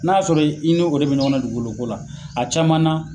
N'a sɔrɔ i ni o de be ɲɔgɔnna dugukolo ko la a caman na